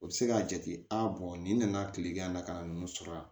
O bɛ se k'a jate nin nana tilegan in na ka na ninnu sɔrɔ yan